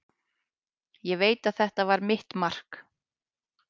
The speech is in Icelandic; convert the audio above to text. Ég veit að þetta var mitt mark.